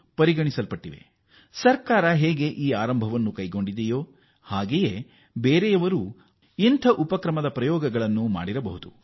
ಇತರರು ಕೂಡ ಸರ್ಕಾರ ಕೈಗೊಂಡಿರುವ ಕ್ರಮಗಳ ಸ್ವರೂಪದಲ್ಲೇ ಪ್ರಯೋಗಗಳನ್ನು ಮಾಡಬಹುದು